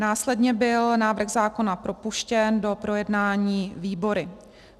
Následně byl návrh zákona propuštěn do projednání výbory.